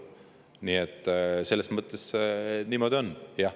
Nii et selles mõttes niimoodi on jah.